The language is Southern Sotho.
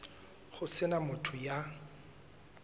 ho se na motho ya